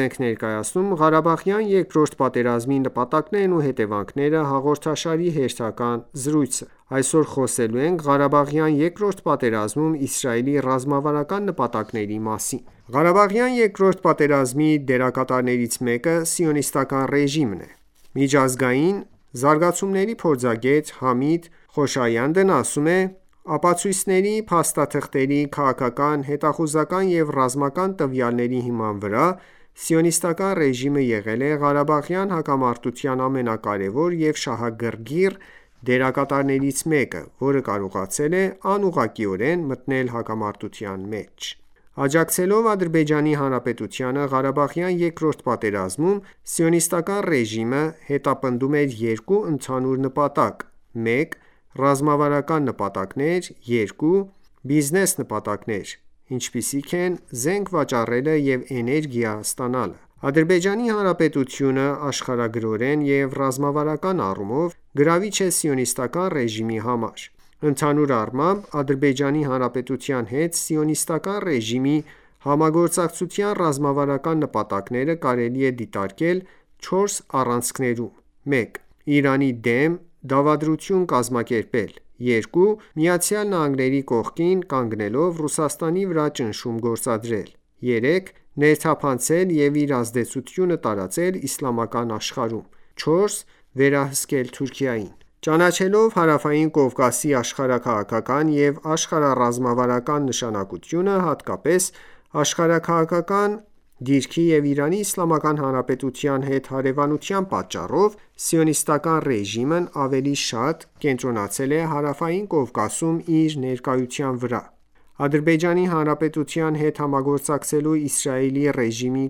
ենք ներկայացնում «Ղարաբաղյան երկրորդ պատերազմի նպատակներն ու հետևանքները» հաղորդաշարի հերթական զրույցը: Այսօր խոսելու ենք ղարաբաղյան երկրորդ պատերազմում Իսրայելի ռազմավարական նպատակների մասին: Ղարաբաղյան երկրորդ պատերազմի դերակատարներից մեկը Սիոնիստական ​​ռեժիմն է: Միջազգային զարգացումների փորձագետ Համիդ Խոշայանդն ասում է. «Ապացույցների, փաստաթղթերի, քաղաքական, հետախուզական և ռազմական տվյալների հիման վրա Սիոնիստական ​​ռեժիմը եղել է ղարաբաղյան հակամարտության ամենակարևոր և շահագրգիռ դերակատարներից մեկը, որը կարողացել է անուղղակիորեն մտնել հակամարտության մեջ»: Աջակցելով Ադրբեջանի Հանրապետությանը Ղարաբաղյան երկրորդ պատերազմում Սիոնիստական ​​ռեժիմը հետապնդում էր երկու ընդհանուր նպատակ: 1- Ռազմավարական նպատակներ 2- Բիզնես նպատակներ, ինչպիսիք են զենք վաճառելը և էներգիա ստանալը: Ադրբեջանի Հանրապետությունը աշխարհագրորեն և ռազմավարական առումով գրավիչ է Սիոնիստական ​​ռեժիմի համար։ Ընդհանուր առմամբ, Ադրբեջանի Հանրապետության հետ Սիոնիստական ​​ռեժիմի համագործակցության ռազմավարական նպատակները կարելի է դիտարկել 4 առանցքներում: 1- Իրանի դեմ դավադրություն կազմակերպել 2- ԱՄՆ-ի կողքին կանգնելով Ռուսաստանի վրա ճնշում գործադրել 3-Ներթափանցել և իր ազդեցությունը տարածել իսլամական աշխարհում և 4- վերահսկել Թուրքիային: Ճանաչելով Հարավային Կովկասի աշխարհաքաղաքական և աշխարհառազմավարական նշանակությունը՝ հատկապես աշխարհաքաղաքական դիրքի և Իրանի Իսլամական Հանրապետության հետ հարևանության պատճառով Սիոնիստական ​​ռեժիմն ավելի շատ կենտրոնացել է Հարավային Կովկասում իր ներկայության վրա: Ադրբեջանի Հանրապետության հետ համագործակցելու Իսրայելի ռեժիմի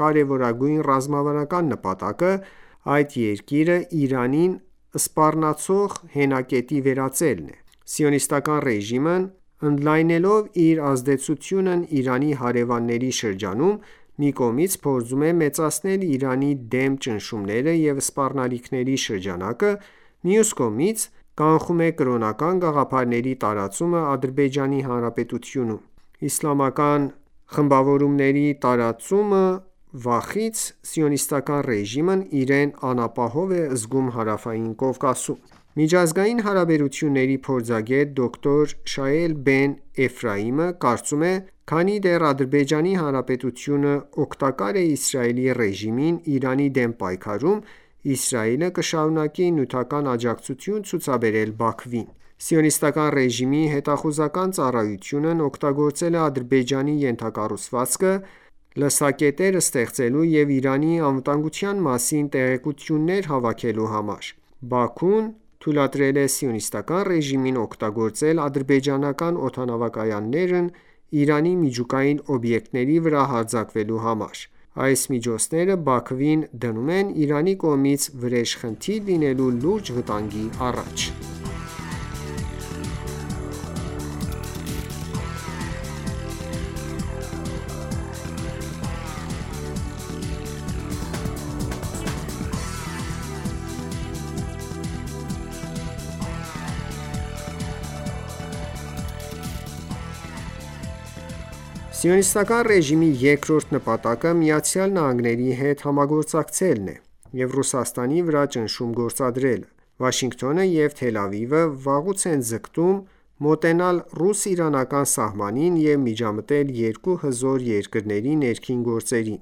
կարեւորագույն ռազմավարական նպատակը այդ երկիրը Իրանին սպառնացող հենակետի վերածելն է։ Սիոնիստական ​​ռեժիմն ընդլայնելով իր ազդեցությունն Իրանի հարեւանների շրջանում, մի կողմից փորձում է մեծացնել Իրանի դեմ ճնշումների ու սպառնալիքների շրջանակը, մյուս կողմից՝ կանխում է կրոնական գաղափարների տարածումը Ադրբեջանի Հանրապետությունում։ Իսկական իսլամական խմբավորումների տարածումի վախից Սիոնիստական ​​ռեժիմն իրեն անապահով է զգում Հարավային Կովկասում։ Միջազգային հարաբերությունների փորձագետ դոկտոր Շայել Բեն-Էֆրայմը կարծում է.««Քանի դեռ Ադրբեջանի Հանրապետությունը օգտակար է Իսրայելի ռեժիմին Իրանի դեմ պայքարում, Իսրայելը կշարունակի նյութական աջակցություն ցուցաբերել Բաքվին։ Սիոնիստական ​​ռեժիմի հետախուզական ծառայությունն օգտագործել է Ադրբեջանի ենթակառուցվածքը՝ լսակետեր ստեղծելու և Իրանի անվտանգության մասին տեղեկություններ հավաքելու համար։ Բաքուն թույլատրել է Սիոնիստական ​​ռեժիմին օգտագործել ադրբեջանական օդանավակայաններն Իրանի միջուկային օբյեկտների վրա հարձակվելու համար։ Այս միջոցները Բաքվին դնում են Իրանի կողմից վրեժխնդիր լինելու լուրջ վտանգի առաջ»: Սիոնիստական ​​ռեժիմի երկրորդ նպատակը ԱՄՆ-ի հետ համագործակցելն է, և Ռուսաստանի վրա ճնշում գործադրելը։ Վաշինգտոնը և Թել Ավիվը վաղուց են ձգտում մոտենալ ռուս-իրանական սահմանին և միջամտել երկու հզոր երկրների ներքին գործերին։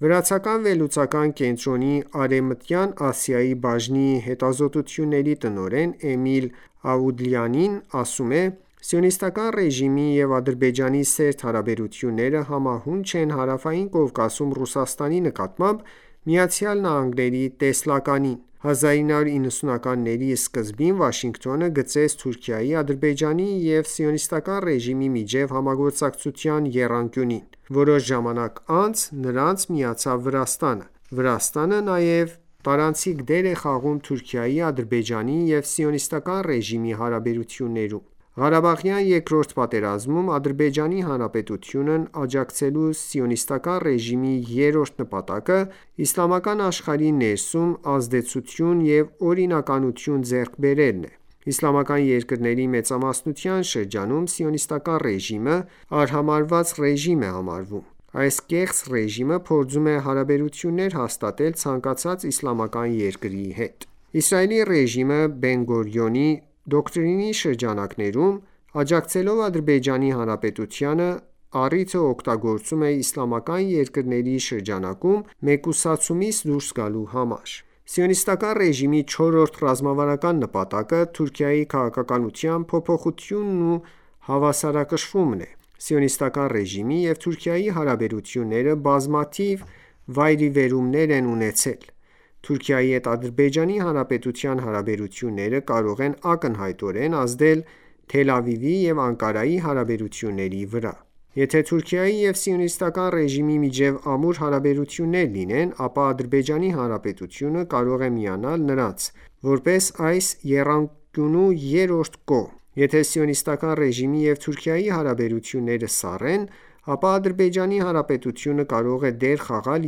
«Վրացական Geocase վերլուծական կենտրոնի Արևմտյան Ասիայի բաժնի հետազոտությունների տնօրեն Էմիլ Աուդլիանին ասում է.«Սիոնիստական ​​ռեժիմի և Ադրբեջանի սերտ հարաբերությունները համահունչ են Հարավային Կովկասում Ռուսաստանի նկատմամբ ԱՄՆ-ի տեսլականին։ 1990-ականների սկզբին Վաշինգտոնը գծեց Թուրքիայի, Ադրբեջանի Հանրապետության և Սիոնիստական ​​ռեժիմի միջև համագործակցության եռանկյունին: Որոշ ժամանակ անց նրանց միացավ Վրաստանը։ Վրաստանը նաև տարանցիկ դեր է խաղում Թուրքիայի, Ադրբեջանի Հանրապետության և Սիոնիստական ​​ռեժիմի հարաբերություններում»։ Ղարաբաղյան Երկրորդ պատերազմում Ադրբեջանի Հանրապետությանն աջակցելու Սիոնիստական ​​ռեժիմի երրորդ նպատակը իսլամական աշխարհի ներսում ազդեցություն և օրինականություն ձեռք բերելն է: Իսլամական երկրների մեծամասնության շրջանում Սիոնիստական ​​ռեժիմը արհամարհված ռեժիմ է համարվում: Այս կեղծ ռեժիմը փորձում է հարաբերություններ հաստատել ցանկացած իսլամական երկրի հետ։ Իսրայելի ռեժիմը, Բեն-Գուրիոնի դոկտրինի շրջանակում, աջակցելով Ադրբեջանի Հանրապետությանը, առիթը օգտագործում է իսլամական երկրների շրջանկում մեկուսացումից դուրս գալու համար։ Սիոնիստական ​​ռեժիմի չորրորդ ռազմավարական նպատակը, Թուրքիայի քաղաքականության փոփոխությունն ու հավասարակշռումն է: Սիոնիստական ​​ռեժիմի և Թուրքիայի հարաբերությունները բազմաթիվ վայրիվերումներ են ունեցել: Թուրքիայի հետ Ադրբեջանի Հանրապետության հարաբերությունները կարող են ակնհայտորեն ազդել Թել Ավիվի և Անկարայի հարաբերությունների վրա։ Եթե ​​Թուրքիայի և Սիոնիստական ​​ռեժիմի միջև ամուր հարաբերություններ լինեն, ապա Ադրբեջանի Հանրապետությունը կարող է միանալ նրանց՝ որպես այս եռանկյունու երրորդ կողմ։ Եթե ​​Սիոնիստական ​​ռեժիմի և Թուրքիայի հարաբերությունները սառեն, ապա Ադրբեջանի Հանրապետությունը կարող է դեր խաղալ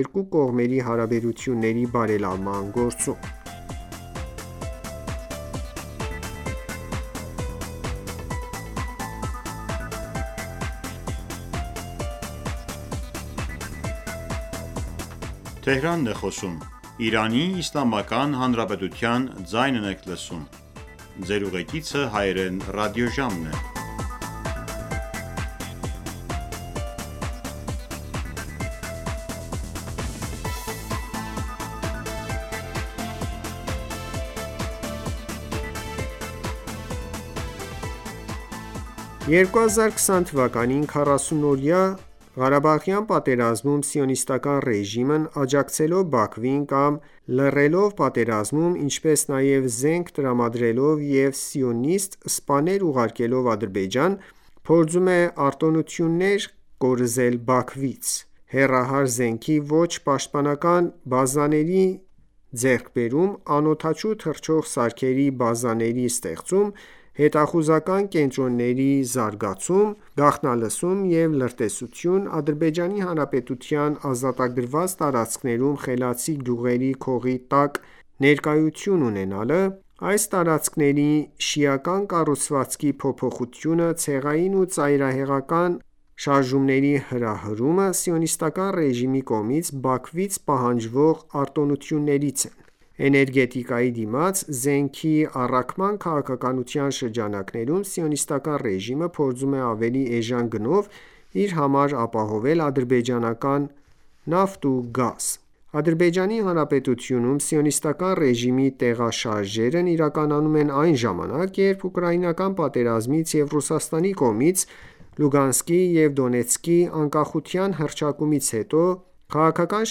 երկու կողմերի հարաբերությունների բարելավման գործում։ 2020 թվականին 44-օրյա Ղարաբաղյան պատերազմում Սիոնիստական ​​ռեժիմն աջակցելով Բաքվին կամ լռելով պատերազմում, ինչպես նաև զենք տրամադրելով և սիոնիստ սպաներ ուղարկելով Ադրբեջան փորձում է արտոնություններ կորզել Բաքվից։ Հեռահար զենքի ոչ պաշտոնական բազաների ձեռքբերում, անօդաչու թռչող սարքերի բազաների ստեղծում, հետախուզական կենտրոնների զարգացում, գաղտնալսում և լրտեսություն, Ադրբեջանի Հանրապետության ազատագրված տարածքներում խելացի գյուղերի քողի տակ ներկայություն, այս տարածքների շիական կառուցվածքի փոփոխությունը, ցեղային ու ծայրահեղականության հրահրումը Սիոնիստական ​​ռեժիմի կողմից Բաքվից պահանջվող արտոնություններից են: Էներգետիկայի դիմաց զենքի առաքման քաղաքականության շրջանակներում Սիոնիստական ​​ռեժիմը փորձում է ավելի էժան գնով իր համար ապահովել ադրբեջանական նավ ու գազ։ Ադրբեջանի Հանրապետությունում Սիոնիստական ​​ռեժիմի տեղաշարժերն իրականանում են այն ​​ժամանակ, երբ ուկրաինական պատերազմից և Ռուսաստանի կողմից Լուգանսկի և Դոնեցկի անկախության հռչակումից հետո քաղաքական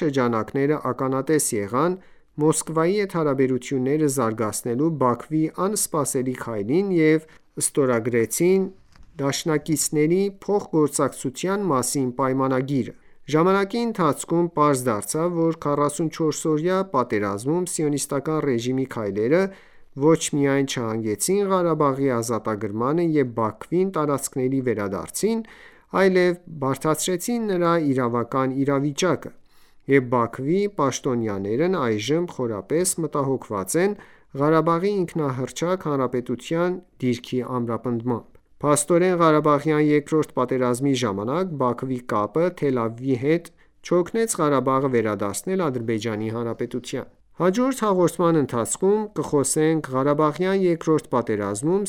շրջանակները ականատես եղան Մոսկվայի հետ հարաբերությունները զարգացնելու Բաքվի անսպասելի քայլին և ստորագրեցին«Դաշինակիցների փոխգործակցության» մասին պայմանագիրը: Ժամանակի ընթացքում պարզ դարձավ, որ 44-օրյա պատերազմում Սիոնիստական ​​ռեժիմի քայլերը ոչ միայն չհանգեցրին Ղարաբաղի ազատագրմանը և Բաքվին տարածքների վարադարձին, այլև բարդացրեցին նրա իրավական իրավիճակը, և Բաքվի պաշտոնյաներն այժմ խորապես մտահոգված են Ղարաբաղի ինքնահռչակ հանրապետության դիրքի ամրապնդմամբ։ Փաստորեն, Ղարաբաղյան երկրորդ պատերազմի ժամանակ Բաքվի կապը Թել Ավիվի հետ չօգնեց Ղարաբաղը վերադարձնել Ադրբեջանի Հանրապետությանը։ Հաջորդ հաղորդման ընթացքում կխոսենք ղարաբաղյան երկրորդ պատերազմում